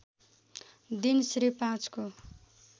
दिन श्री ५ को